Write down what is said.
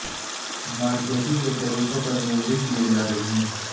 marketing کے طریقوں پر میزیں کی جا رہی ہیں